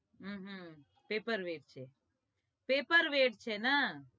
અહ separate છે separate છે ન